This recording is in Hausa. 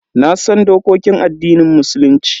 Nasan dokokin addinin Musulunci.